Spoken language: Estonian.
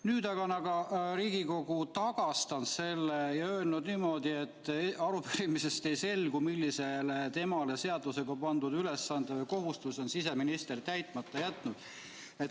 Nüüd aga on Riigikogu selle tagastanud ja öelnud, et arupärimisest ei selgu, millise temale seadusega pandud ülesande või kohustuse on siseminister täitmata jätnud.